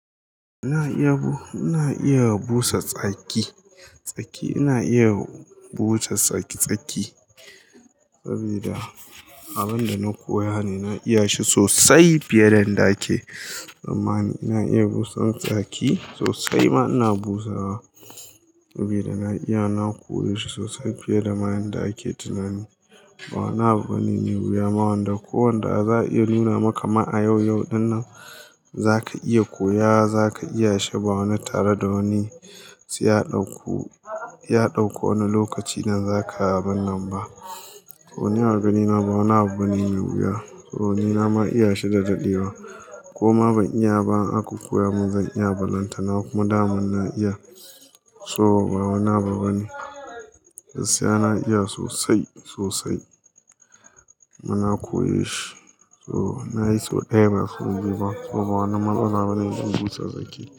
Ina iya, ina iya busa tsaki, tsaki ina iya busa tsaki-tsaki sabida abun da na koya ne, na iya shi sosai fiye da inda ake. Tsammani ina iya busa tsaki sosai ma ina busawa. Saboda ina iya, na koya shi sosai fiye da ma yanda ake tunane. Ba wani abu bane mai wuya ma wanda ko wanda za a iya nuna maka ma a yau-yau din nan za ka iya koya, za ka iya shi ba wani tare da wani sai ya ɗauko, ya ɗauko wani lokaci nan za ka abun nan ba. Ko ni a ganina ba wani abu bane mai wuya. Ko ni nama iya shi da daɗewa ko ma ban iya ba in an koya mun zan iya, ba lantana kuma daman na iya. So ba wani abu bane. Gaskiya na iya sosai, sosai. Kuma na koye shi. So na yi sau ɗaya ba sau biyu ba. So ba wani matsala bane in busa tsaki.